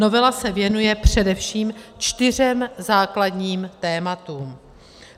Novela se věnuje především čtyřem základním tématům.